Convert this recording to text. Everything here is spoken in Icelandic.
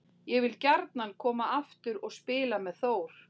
Ég vil gjarnan koma aftur og spila með Þór.